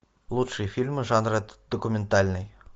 лучшие фильмы жанра документальный